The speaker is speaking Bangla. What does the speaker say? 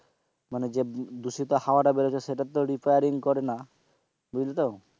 মানে যে দূষিত হওয়াটা বেরহচ্ছে সেটা তো repairing করে না বুঝলে তো,